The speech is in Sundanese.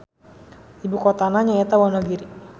Ibukotana nyaeta Wonogiri.